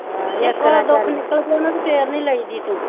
ਇੱਕ ਵਾਰ ਦੁਖ ਨੀਕਲ ਗਿਆ ਤਾਂ ਫੇਰ ਨੀ ਲਈਦੀ ਤੂ,